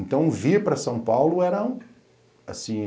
Então, vir para São Paulo era, assim,